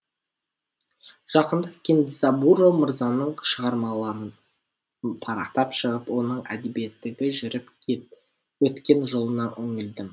жақында кэндзабуро мырзаның шығармаларын парақтап шығып оның әдебиеттегі жүріп өткен жолына үңілдім